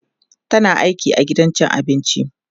tana aiki a gidan cin abinci